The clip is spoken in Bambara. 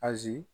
Azi